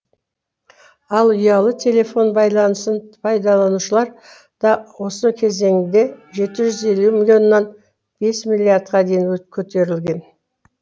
ал ұялы телефон байланысын пайдаланушылар да осы кезеңде жеті жүз елу миллионнан бес миллиардқа дейін көтерілген